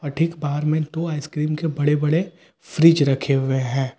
और ठीक बाहर में दो आइसक्रीम के बड़े बड़े फ्रिज रखे हुए हैं।